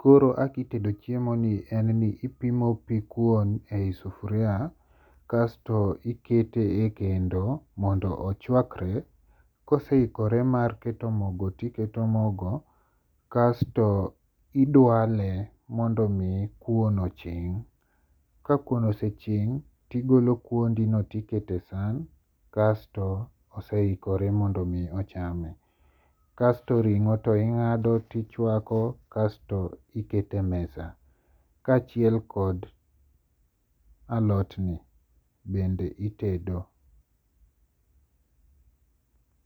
koro kaka itedo chiemoni en ni, ipimo pi kuon e yi sufuria, kasto ikete e kendo mondo ochwakre, koseikore mar keto mogo to iketo mago, kasto idwale mondo miyi kuono ching', ka kuon oseching' tigolo kuondino tiketo e sahan kasto osehikore mondo mi ochame, kasto ringo to inga'do to ichwako kasto iketo e mesa kachiel kod alotni bende itedo